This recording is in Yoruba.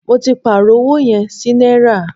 Mó tí pàárọ̀ ọwọ yẹn sí náírà.